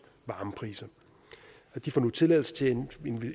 varmepriser de får nu tilladelse til at